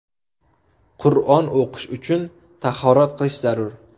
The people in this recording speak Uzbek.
Qur’on o‘qish uchun tahorat qilish zarur.